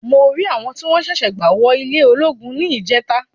Mo rí àwọn tí wọ́n ṣẹ̀ṣẹ̀ gba wò ilé ológun ní ílìjẹ́ta.